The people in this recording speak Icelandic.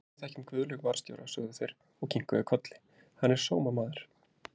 Jú, við þekkjum Guðlaug varðstjóra, sögðu þeir og kinkuðu kolli, hann er sómamaður!